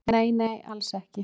"""Nei, nei, alls ekki."""